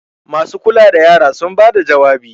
masu kula da yara sun bada jawabi!